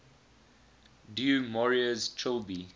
du maurier's trilby